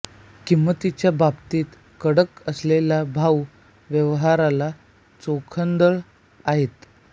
किंमतीच्या बाबतीत कडक असलेले भाऊ व्यवहाराला चोखंदळ आहेत